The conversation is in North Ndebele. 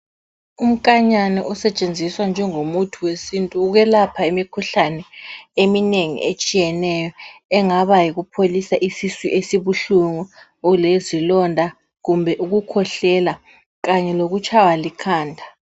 Konkanyana okusetshenziswa njengomuthi wesintu ukukwelapha imikhuhlane eminengi etshiyeneyo okungaba yikupholisa isisu esibuhlungu, lezilonda kumbe ukukhwehlela kanye lokutshaywa likhanda.